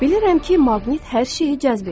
Bilirəm ki, maqnit hər şeyi cəzb edir.